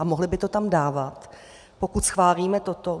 A mohli by to tam dávat, pokud schválíme toto.